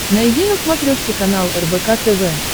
найди на смотрешке канал рбк тв